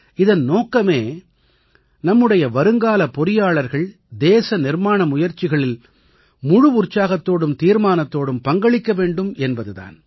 இதன் நோக்கமே நம்முடைய வருங்கால பொறியாளர்கள் தேச நிர்மாண முயற்சிகளில் முழு உற்சாகத்தோடும் தீர்மானத்தோடும் பங்களிக்க வேண்டும் என்பது தான்